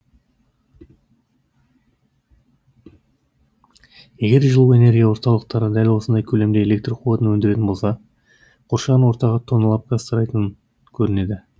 егер жылу энергия орталықтары дәл осындай көлемде электр қуатын өндіретін болса қоршаған ортаға тонналап газ тарайтын көрінеді